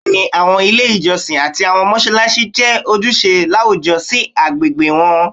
Bẹẹni, awọn ile ijọsin ati awọn mọṣalaṣi jẹ ojuṣe lawujọ si agbegbe wọn